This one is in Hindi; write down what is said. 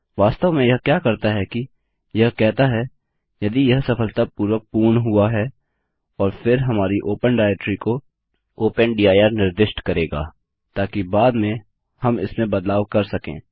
वास्तव में यह क्या करता है कि यह कहता है यदि यह सफलतापूर्वक पूर्ण हुआ है और फिर हमारी ओपन डाइरेक्टरी को ओपन दिर निर्दिष्ट करेगा ताकि बाद में हम इसमें बदलाव कर सकें